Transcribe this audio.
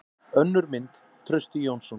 Önnur mynd: Trausti Jónsson.